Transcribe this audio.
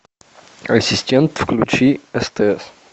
ассистент включи стс